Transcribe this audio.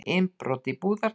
Innbrot í Búðardal